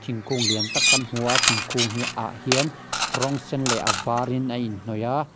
thingkung lian tak kan hmu a thingkung hi ah hian rawng sen leh a varin a inhnawih a.